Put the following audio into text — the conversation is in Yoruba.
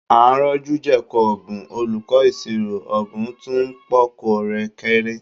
À ń rọ́jú jẹ̀kọ ọ̀bùn olùkọ́ ìṣirò, ọ̀bùn tún ń pọ́nkọ rẹ̀ kéré